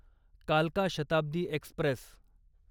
कालका शताब्दी एक्स्प्रेस